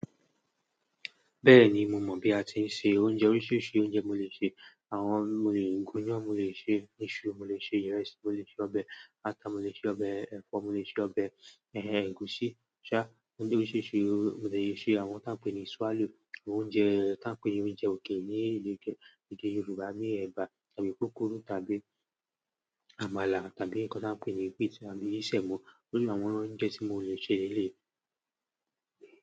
Bẹ́ẹ̀ni mo mọ̀ bí a tí ń se oúnjẹ oríṣiríṣi oúnjẹ mo lè se. Àwọn mo lè gúnyán mo lè ṣe isú, mo lè ṣe ireẹ́sì, mo lè ṣe ọbẹ̀ ata, mo lè ṣe ọbẹ̀ ẹ̀fọ́, mo lè ṣe ọbẹ̀ ẹ̀h ẹ̀gúsí, ṣá, oúnjẹ oríṣiríṣi mo lè ṣe àwọn tí a ń pè ní swallow, oúnjẹ tí a ń pè ní oúnjẹ okele ní ede Yorùbá bi ẹ̀bà tàbí pukuru tàbí àmàlà tàbí nǹkan tí a ń pè ní piti tàbí sẹ̀mọ́. Iru àwọn oúnjẹ tí mo lè ṣe le eleyi.